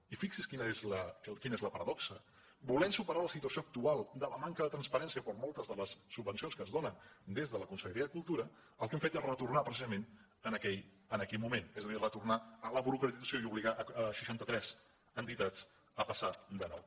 i fixi’s quina és la paradoxa volent superar la situació actual de manca de transparència per a moltes de les subvencions que es donen des de la conselleria de cultura el que hem fet és retornar precisament a aquell moment és a dir retornar a la burocratització i obligar seixanta tres entitats a passar de nou